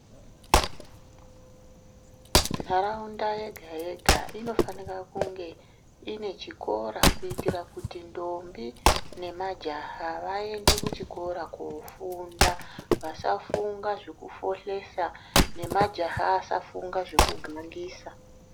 Nharaunda yega-yega inofanira kungeine chikora kuitira kuti ndombi nema jaha vaende kuchikora kofunda. Vasafunga zvekufohlesa nemajaha asafunga zvekugangisa.